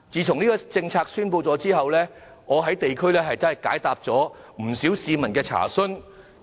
這項政策公布後，我在地區解答了不少市民的查詢。